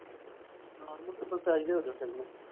attack ਈ ਹੋ ਗਿਆ ਵਿਚਾਰੀ ਨੂੰ।